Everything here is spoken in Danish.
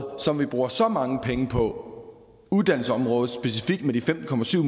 som vi bruger så mange penge på uddannelsesområdet specifikt med de femten